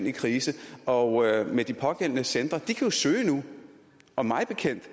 i krise og de pågældende centre kan jo søge nu og mig bekendt